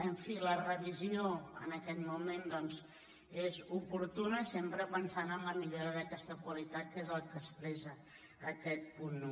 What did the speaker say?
en fi la revisió en aquest moment és oportuna sempre pensant en la mi·llora d’aquesta qualitat que és el que expressa aquest punt un